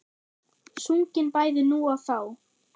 Sungin bæði nú og þá.